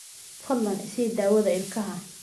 Fadlan i sii daawada ilkaha.